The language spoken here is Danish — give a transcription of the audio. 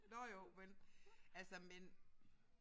Nåh jo men altså men